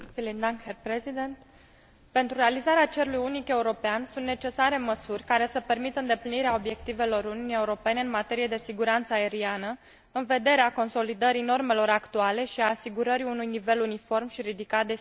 Pentru realizarea cerului unic european sunt necesare măsuri care să permită îndeplinirea obiectivelor Uniunii Europene în materie de siguranță aeriană, în vederea consolidării normelor actuale și a asigurării unui nivel uniform și ridicat de siguranță a transportului aerian.